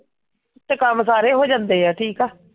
ਤੇ ਕੱਮ ਸਾਰੇ ਹੋ ਜਾਂਦੇ ਆ ਠੀਕ ਆ?